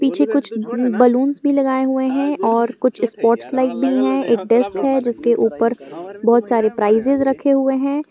पीछे कुछ बलूंस भी लगाए हुए हैं और कुछ स्पॉट्स लाइट भी हैं एक डेस्क है जिसके ऊपर बहुत सारे प्राइजेज रखे हुए हैं।